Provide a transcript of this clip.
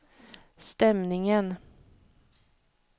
stämningen